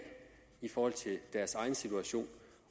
i forhold til deres egen situation